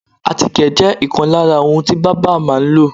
àtíkè jẹ́ ìkan lára ohun tí bábà máa ń lò.